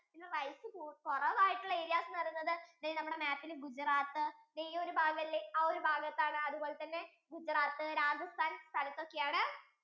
rice കുറവായിട്ടുള്ള areas എന്നുപറയുന്നത് ദേ നമ്മുടെ map യിൽ Gujarat ദേ ഈ ഒരു ഭാഗം ഇല്ലേ ആ ഒരു ഭാഗത്താണ് അതുപോലെ തന്നെ Gujarat, Rajasthan സ്ഥലത്തൊക്കെ ആണ്